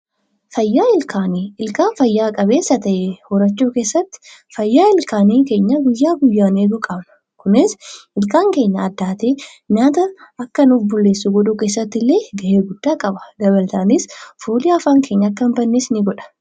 Fayyaa ilkaanii. ilkaan fayya qabeessa ta'e horachuu keessatti fayyaa ilkaanii keenya guyyaa guyyaan eeguu qabna. Kunis ilkaan keenya addaatee nyaata akka nu bulleessu godhuu keessatti illee ga'ee guddaa qaba. Dabalataanis fooliin afaan keenyaa akka hin badnes ni godha.